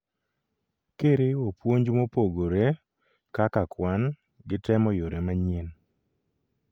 kiriwo puonj mopogore (kak kwan ) gi temo yore manyien